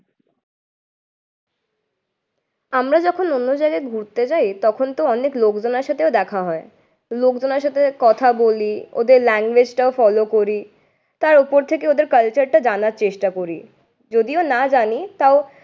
আমরা যখন অন্য জায়গায় ঘুরতে যায় তখনতো অনেক লোকজনের সাথেও দেখা হয়, লোকজনের সাথে কথা বলি ওদের language টাও follow করি। তাই ওপর থেকে ওদের culture টা জানার চেষ্টা করি, যদিও না জানি তাও